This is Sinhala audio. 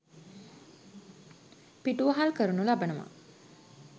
පිටුවහල් කරනු ලබනවා.